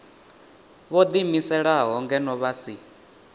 vho ḓiimiselaho ngeno vha si